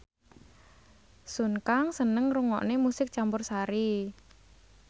Sun Kang seneng ngrungokne musik campursari